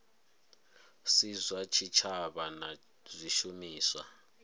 si zwa tshitshavha na zwishumiswa